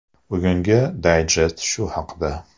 Bugungi dayjest shu haqda.